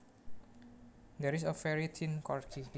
There is a very thin corgi